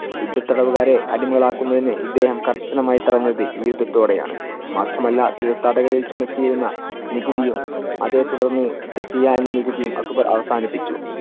യുദ്ധത്തടവുകാരെ അടിമകൾ ആക്കുന്നതിനു ഇദ്ദേഹം കർശനമായി തടന്നത് ഈ യുദ്ധത്തോടെ ആണ്. മാത്രം അല്ല തീർത്ഥാടക ദിവസം എത്തിയിരുന്ന നികുതിയും അതെ തുടർന്ന് ജെസിയ എന്ന നികുതിയും അക്ബർ അവസാനിപ്പിച്ചു.